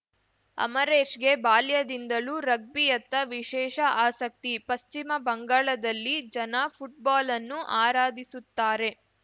ಅಮರೇಶ್‌ಗೆ ಬಾಲ್ಯದಿಂದಲೂ ರಗ್ಬಿಯತ್ತ ವಿಶೇಷ ಆಸಕ್ತಿ ಪಶ್ಚಿಮ ಬಂಗಾಳದಲ್ಲಿ ಜನ ಫುಟ್ಬಾಲನ್ನು ಆರಾಧಿಸುತ್ತಾರೆ